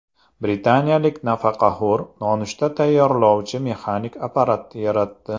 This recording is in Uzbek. Britaniyalik nafaqaxo‘r nonushta tayyorlovchi mexanik apparat yaratdi .